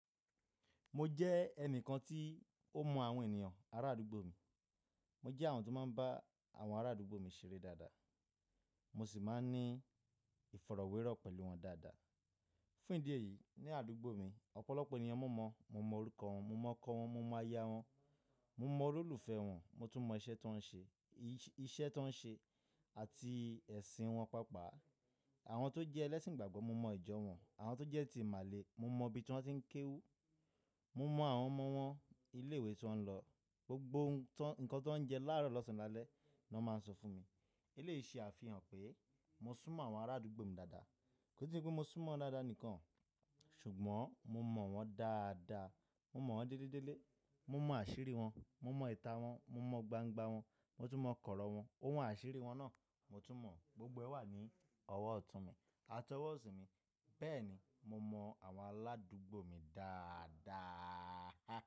Mo jẹ́ ẹnìkan tí ó mọ àwọn ènìyàn ará àdúgbò mi. Mo jẹ́ àwọn tó máa ń bá àwọn ará àdúgbò mi ṣeré dáadáa. Mo sì máa ń ní ìfọ̀rọ̀wérọ̀ pẹ̀lú wọn dáadáa. Fún ìdí èyí, ní àdúgbò mi, ọ̀pọ̀lọpọ̀ ènìyàn mo mọ̀. Mo mọ orúkọ wọn, mo mọ okọ wọn, mo mọ ayá wọn, mo mọ olólùfẹ́ wọn, mo tún mọ iṣẹ́ tó ń ṣe, iṣẹ́ tó ń ṣe àti ẹ̀sìn wọn pàápàá. Àwọn tó jẹ́ ẹlẹ́sìn igbàgbọ́, mo mọ ìjọ wọn. Àwọn tó jẹ́ ti ìmàle, mo mọ ibi tí wọ́n ti ń kéwú. Mo mọ àwọn ọmọ wọn, ilé ìwé tí wọ́n ń lọ, gbogbo nǹkan tó ń jẹ láàárọ̀ lọ́sàn-án lálẹ́ ni wọ́n máa ń sọ fún mi. Eléyìí ṣe àfihàn pé mo sún mọ́ àwọn ará àdúgbò mi dáadáa. Kò se pẹ́ mo sún mọ́ wọn dáadáa nìkan, ṣùgbọ́n mo mọ̀ wọ́n dáadáa. Mo mọ̀ wọ́n délédélé. Mo mọ àṣírí wọn, mo mọ ìta wọn, mo mọ gbangba wọn, mo tún mọ kọ̀rọ̀ wọn, ohun àṣírí wọn náà mo tún mọ̀. Gbogbo ẹ wà ní ọwọ́ ọ̀tún mi àti ọwọ́ òsì mi. Bẹ́ẹ̀ ni, mo mọ àwọn aládúgbò mi dáadáa.